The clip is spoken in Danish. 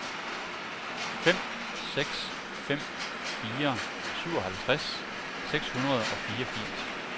fem seks fem fire syvoghalvtreds seks hundrede og fireogfirs